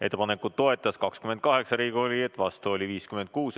Ettepanekut toetas 28 Riigikogu liiget, vastu oli 56.